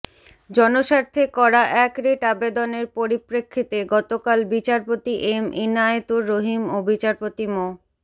জনস্বার্থে করা এক রিট আবেদনের পরিপ্রেক্ষিতে গতকাল বিচারপতি এম ইনায়েতুর রহিম ও বিচারপতি মো